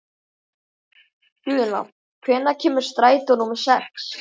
Guðna, hvenær kemur strætó númer sex?